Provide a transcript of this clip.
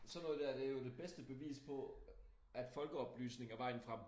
Sådan noget dér det er jo det bedste bevis på at folkeoplysning er vejen frem